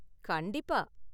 கண்டிப்பா.